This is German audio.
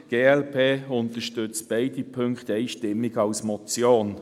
Die glp unterstützt beide Punkte einstimmig als Motion.